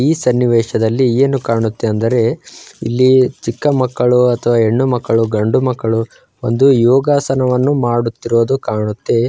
ಈ ಸನ್ನಿವೇಶದಲ್ಲಿ ಏನು ಕಾಣುತ್ತೆ ಅಂದರೆ ಇಲ್ಲಿ ಚಿಕ್ಕ ಮಕ್ಕಳು ಅಥವಾ ಹೆಣ್ಣು ಮಕ್ಕಳು ಗಂಡು ಮಕ್ಕಳು ಒಂದು ಯೋಗಾಸನವನ್ನು ಮಾಡುತ್ತಿರುವುದು ಕಾಣುತ್ತೆ---